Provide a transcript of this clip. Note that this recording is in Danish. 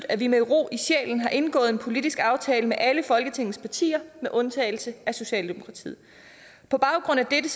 at vi med ro i sjælen har indgået en politisk aftale med alle folketingets partier med undtagelse af socialdemokratiet på baggrund af dette